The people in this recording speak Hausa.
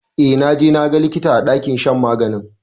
Yee, i have consulted the doctor in the sick bay?